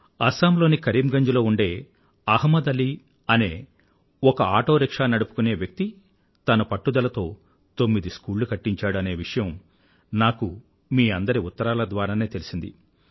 అస్సాం లోని కరీమ్ గంజ్ లో ఉండే అహ్మద్ అలీ అనే ఒక ఆటోరిక్షా నడిపుకునే వ్యక్తి తన పట్టుదలతో తొమ్మిది స్కూళ్ళు కట్టించాడు అనే విషయం నాకు మీ అందరి ఉత్తరాల ద్వారానే తెలిసింది